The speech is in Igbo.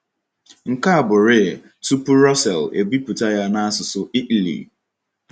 Nke a bụrịị tupu Russell ebipụta ya n’asụsụ Italy.